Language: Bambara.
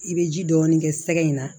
I bɛ ji dɔɔni kɛ sɛgɛ in na